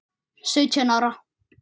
Sautján ára.